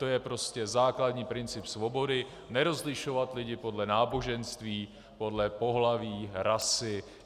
To je prostě základní princip svobody - nerozlišovat lidi podle náboženství, podle pohlaví, rasy.